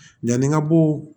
Yanni ka bɔ